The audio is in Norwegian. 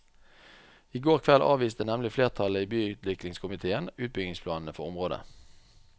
I går kveld avviste nemlig flertallet i byutviklingskomitéen utbyggingsplanene for området.